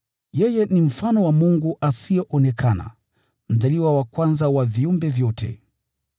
Yeye ni mfano wa Mungu asiyeonekana, mzaliwa wa kwanza wa viumbe vyote.